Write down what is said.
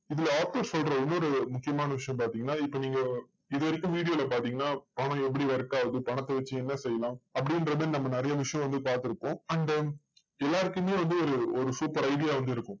இதுல author சொல்ற இன்னொரு முக்கியமான விஷயம் பாத்தீங்கன்னா, இப்போ நீங்க இதுவரைக்கும் video ல பார்த்தீங்கன்னா பணம் எப்படி work ஆகுது? பணத்தை வச்சு என்ன செய்யலாம்? அப்படின்ற மாதிரி நம்ம நிறைய விஷயம் வந்து பாத்திருப்போம். and then எல்லாருக்குமே வந்து ஒரு ஒரு super idea ஒண்ணு இருக்கும்.